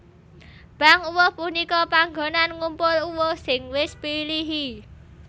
Bank uwuh punika panggonan ngumpul uwuh sing wis pilihi